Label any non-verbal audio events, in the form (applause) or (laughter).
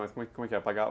Mas como é que é? (unintelligible)